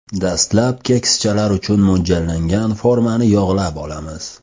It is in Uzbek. Dastlab kekschalar uchun mo‘ljallangan formani yog‘lab olamiz.